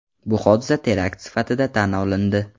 Bu hodisa terakt sifatida tan olindi.